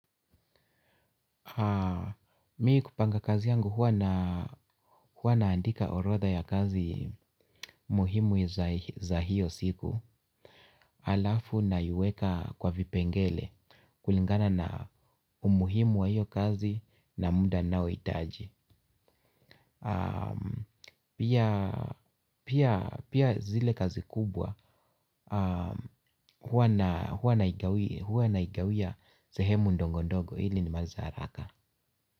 Mi kupanga kazi yangu huwa naandika orodha ya kazi muhimu za hiyo siku. Alafu naiweka kwa vipengele kulingana na umuhimu wa hiyo kazi na muda ninaohitaji. Pia zile kazi kubwa huwa naigawia sehemu ndogo ndogo ili nimalize haraka.